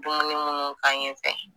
Dumunu mun k'a ɲɛfɛ.